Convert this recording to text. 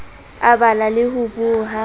a bala le ho boha